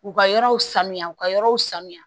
U ka yɔrɔw sanuya u ka yɔrɔw sanuya